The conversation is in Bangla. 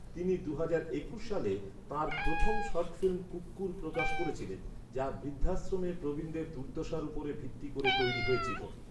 তিনি দুহাজার একুশ সালে, তাঁর প্রথম শর্ট ফিল্ম কুক্কুর প্রকাশ করেছিলেন, যা বৃদ্ধাশ্রমে প্রবীণদের দুর্দশার উপর ভিত্তি করে তৈরি হয়েছিল।